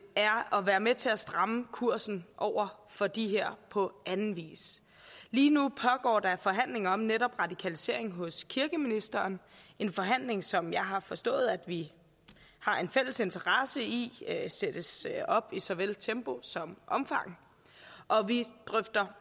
er at være med til at stramme kursen over for de her på anden vis lige nu pågår der forhandlinger om netop radikalisering hos kirkeministeren en forhandling som jeg har forstået vi har en fælles interesse i sættes op i såvel tempo som omfang og vi drøfter